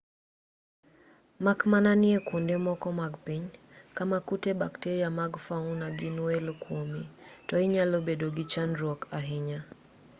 mak mana ni e kuonde moko mag piny kama kute bakteria mag fauna gin welo kuomi to inyalo bedo gi chandruok ahinya